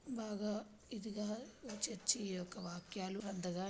బాగా ఇదిగా చర్చి యొక్క వ్యాఖ్యలు అంతగా--